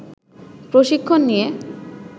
প্রশিক্ষণ নিয়ে